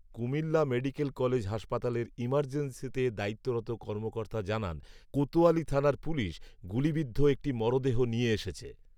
Comilla medical college হাসপাতালের ইর্মাজেন্সিতে দায়িত্বরত কর্মকর্তা জানান, কোতয়ালী থানার পুলিশ গুলিবিদ্ধ একটি মরদেহ নিয়ে এসেছে